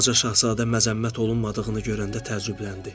Balaca Şahzadə məzəmmət olunmadığını görəndə təəccübləndi.